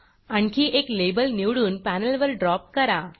आणखी एक लाबेल निवडून पॅनेलवर ड्रॉप करा